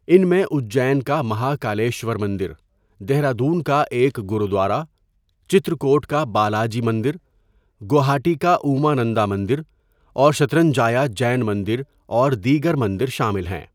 ان میں اجّین کا مہاکالیشور مندر، دہرادون کا ایک گرودوارہ، چترکوٹ کا بالاجی مندر، گوہاٹی کا اُمانندا مندر اور شترنجایا جین مندر، اور دیگر مندر شامل ہیں۔